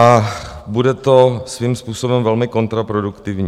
A bude to svým způsobem velmi kontraproduktivní.